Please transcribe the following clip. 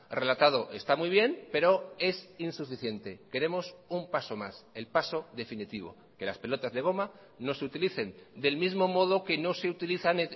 relatado está muy bien pero es insuficiente queremos un paso más el paso definitivo que las pelotas de goma no se utilicen del mismo modo que no se utilizan